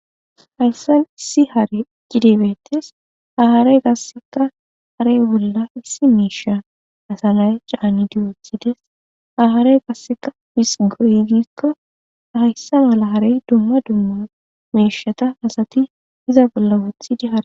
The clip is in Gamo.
hayssan issi hare cidibetes aharey gasseka harey bolla issi meesha asanay caani diyothides aharey gasseka bisgurizikko hayssa mala harey dumma dumma meeshata asati iza bolla wothidi hae